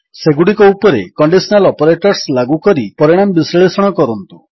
ସେଗୁଡ଼ିକ ଉପରେ conditional operators ଲାଗୁ କରି ପରିଣାମ ବିଶ୍ଳେଷଣ କରନ୍ତୁ